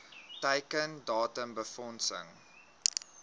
teiken datum befondsing